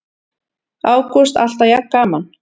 Ágúst: Alltaf jafn gaman?